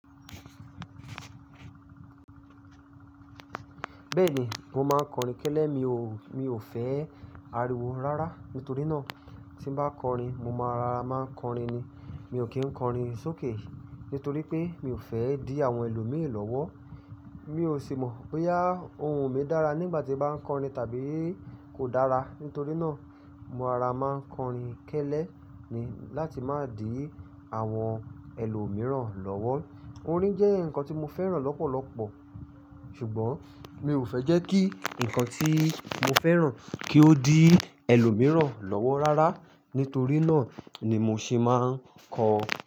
Bẹ́ẹ̀ni, mo máa ń kọrin kẹ́lẹ́. Mi ò, mi ò fẹ́ ariwo rárá. Nítorí náà tí n bá kọrin mo máa raa má ń kọrin ni. Mi ò kí ń kọrin sókè, nítorí pé mi ò fẹ́ dí àwọn ẹlòmíì lọ́wọ́. Mi ò sì mọ̀ bóyá ohùn mi dára nígbà tí bá ń kọrin tàbí kò dára. Nítorí náà mo ara máa ń kọrin kẹ́lẹ́ ni láti má dì àwọn ẹlòmíìràn lọ́wọ́. Orin jẹ́ nǹkan tí mo fẹ́ràn lọ́pọ̀lọpọ̀, ṣùgbọ́n mi ò fẹ́ jẹ́ kí ǹkan tí mo fẹ́ràn kí ó dí ẹlòmíìràn lọ́wọ́ rárá. Nítorí náà ni mo sì máa ń kọ.